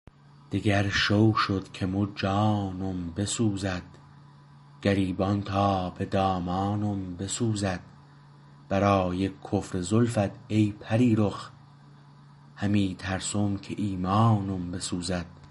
دگر شو شد که مو جانم بسوزد گریبان تا به دامانم بسوزد برای کفر زلفت ای پریرخ همی ترسم که ایمانم بسوزد